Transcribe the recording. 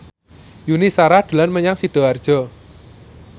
Yuni Shara dolan menyang Sidoarjo